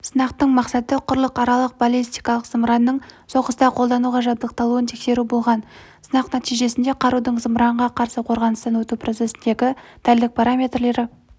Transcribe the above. сынақтың мақсаты құрлықаралық баллистикалық зымыранның соғыста қолдануға жабдықталуын тексеру болған сынақ нәтижесінде қарудың зымыранға қарсы қорғаныстан өту процесіндегі дәлдік параметрлері